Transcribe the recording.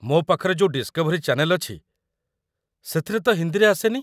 ମୋ ପାଖରେ ଯୋଉ ଡିସ୍‌କଭରୀ ଚାନେଲ୍ ଅଛି, ସେଥିରେ ତ ହିନ୍ଦୀରେ ଆସେନି।